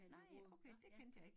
Nej okay det kendte jeg ik